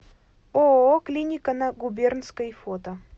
ооо клиника на губернской фото